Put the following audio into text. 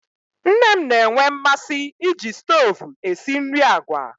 Nne m na-enwe mmasị iji stovu esi nri agwa